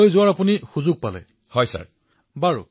প্ৰধানমন্ত্ৰীঃ ছিংগাপুৰত কেনে অভিজ্ঞতা হল আপোনাৰ